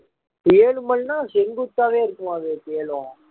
ஏழு மலைன்னா செங்குத்தாவே இருக்குமா விவேக் ஏழும்